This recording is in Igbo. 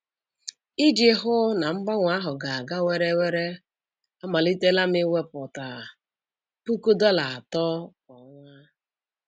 Iji hụ na mgbanwe ahụ ga-aga were were, amalitela m iwepụta puku dollar atọ kwa ọnwa.